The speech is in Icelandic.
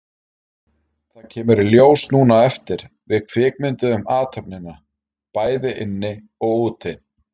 Það kemur í ljós núna á eftir, við kvikmynduðum athöfnina, bæði inni og úti.